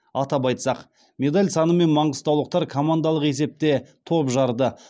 атап айтсақ медаль санымен маңғыстаулықтар командалық есепте топ жарды